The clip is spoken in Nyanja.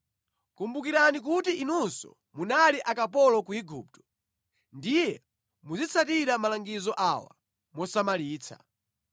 Kumbukirani kuti inunso munali akapolo ku Igupto, ndiye muzitsatira malangizo awa mosamalitsa.